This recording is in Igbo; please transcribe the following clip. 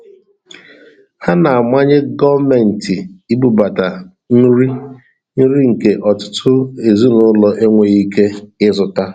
A na-amanye gọọmentị ibubata nri; nri nke ọtụtụ ezinụlọ enweghị ike ịzụta.